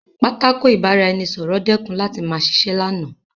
Pátákó ìbára-ẹni-sọ̀rọ̀ dẹ́kun láti ma ṣiṣẹ́ lánàá